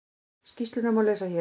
Skýrsluna má lesa hér